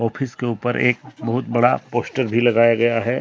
इसके ऊपर एक बहुत बड़ा पोस्टर भी लगाया गया है।